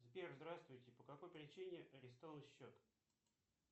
сбер здравствуйте по какой причине арестован счет